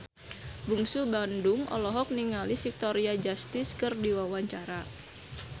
Bungsu Bandung olohok ningali Victoria Justice keur diwawancara